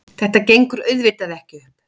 Þetta gengur auðvitað ekki upp.